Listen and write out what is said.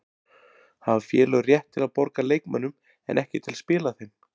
Hafa félög rétt til að borga leikmönnum en ekki til að spila þeim?